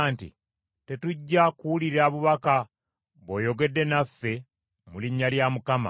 “Tetujja kuwulira bubaka bw’oyogedde naffe mu linnya lya Mukama !